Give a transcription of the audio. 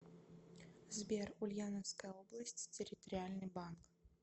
сбер ульяновская область территориальный банк